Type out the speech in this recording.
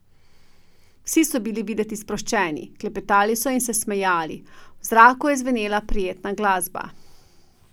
Vsi so bili videti sproščeni, klepetali so in se smejali, v zraku je zvenela prijetna glasba.